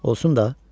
Olsun da.